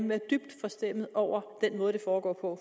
være dybt forstemt over den måde det foregår på